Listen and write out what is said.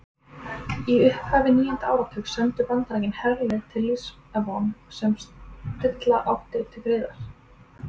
Í upphafi níunda áratugarins sendu Bandaríkin herlið til Líbanon sem stilla átti til friðar.